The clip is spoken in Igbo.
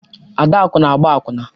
Adaku na-agba akwụna.